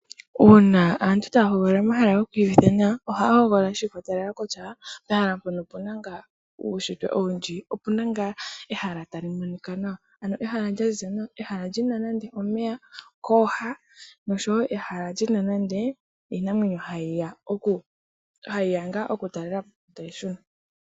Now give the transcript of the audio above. Uuna aantu taya hogolola omahala goku iyu vitha nawa ohaya hogolola shi ikwatelela kutya pehala mpono opuna ngaa uunshitwe owundji. Opuna ngaa ehala tali monika nawa ano ehala lya ziza nawa, ehala lyina nande omeya kooha. Noshowo ehala lyina nande iinamwenyo ha yi ya oku talelapo etayi shuna.